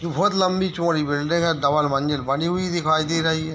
जो बहोत लम्बी- चौड़ी बिल्डिंग है डबल मंजिल बनी हुई दिखाई दे रही हैं।